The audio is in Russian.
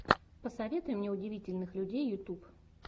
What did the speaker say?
посоветуй мне удивительных людей ютуб